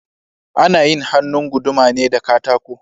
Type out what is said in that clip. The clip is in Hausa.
Ana yin hannun guduma ne da katako